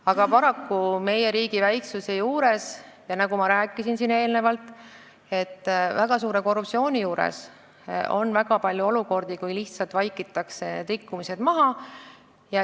Aga paraku meie riigi väiksusest ja, nagu ma siin eelnevalt rääkisin, väga suurest korruptsioonist tulenevalt on väga palju olukordi, kus lihtsalt vaikitakse igasugused rikkumised maha.